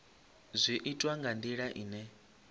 zwi itwa nga ndila ine